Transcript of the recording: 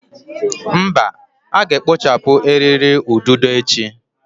Mba, a ga-ekpochapụ eriri ududo echi.